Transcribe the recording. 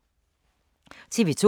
TV 2